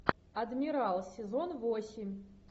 адмирал сезон восемь